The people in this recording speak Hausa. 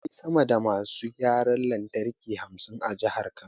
Akwai sama da masu gyaran lantarki hamsin a Jihar Kano.